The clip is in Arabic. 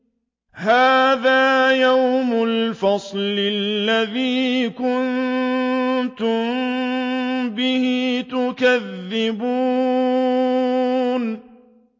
هَٰذَا يَوْمُ الْفَصْلِ الَّذِي كُنتُم بِهِ تُكَذِّبُونَ